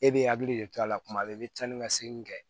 E bɛ hakili de to a la kuma bɛɛ i bɛ taa ni ka segin kɛ